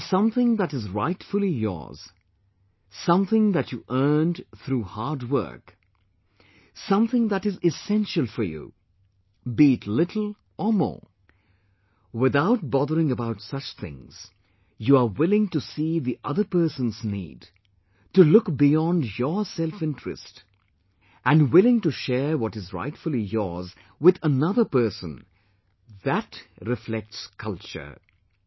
When something that is rightfully yours, something that you earned through hard work, something that is essential for you be it little or more without bothering about such things, you are willing to see the other person's need, to look beyond your self interest, and willing to share what is rightfully yours with another person THAT reflects 'culture'